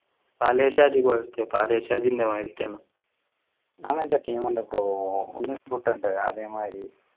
പലേ ഷാജി പോലത്തെ പലേ ഷാജിൻ്റെ മാതിരിത്തെ അങ്ങനത്തെ team ഉണ്ട് പ്പോ ഓ ഉണ്ണിക്കുട്ടൻ അതെ മാതിരി